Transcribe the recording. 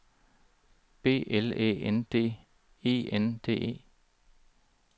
B L Æ N D E N D E